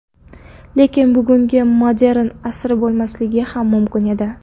Lekin bugungi modern asri bo‘lmasligi ham mumkin edi.